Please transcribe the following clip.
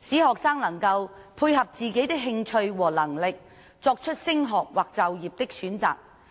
使學生能夠配合自己的興趣和能力，作出升學或就業的選擇。